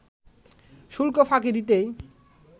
শুল্ক ফাঁকি দিতেই